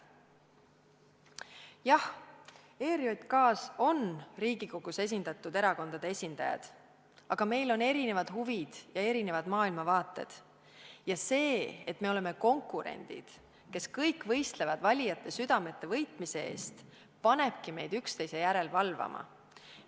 Jah, ERJK-s on Riigikogus esindatud erakondade esindajad, aga meil on erinevad huvid ja erinevad maailmavaated ja see, et me oleme konkurendid, kes võistlevad valijate südamete võitmise eest, panebki meid üksteise järele valvama.